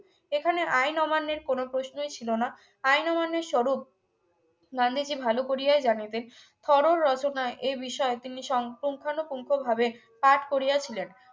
এখানে আইন অমান্যের কোন প্রশ্নই ছিল না আইন অমান্যের স্বরূপ গান্ধীজী ভালো করিয়া জানে তাই থরোর রচনায়ে এ বিষয়ে তিনি সম পুঙ্খানুপুঙ্খ ভাবে কাজ করিয়াছিলেন